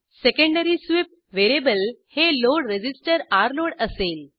secondary sweep variable हे load resistor load असेल